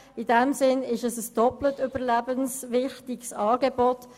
In diesem Sinne ist es ein doppelt überlebenswichtiges Angebot.